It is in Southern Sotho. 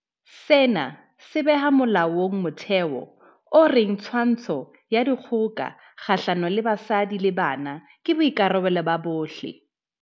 Sena se beha molaong motheo o reng twantsho ya dikgoka kgahlano le basadi le bana ke boikarabelo ba bohle.